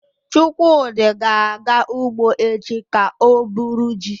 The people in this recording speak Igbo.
Chukwudi ga-aga ugbo echi ka o buru ji